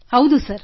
ಹೌದು ಸರ್